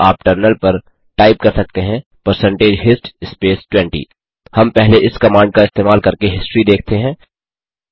अतः आप टर्मिनल पर टाइप कर सकते हैं परसेंटेज हिस्ट स्पेस 20 हम पहले इस कमांड का इस्तेमाल करके हिस्ट्री देखते हैं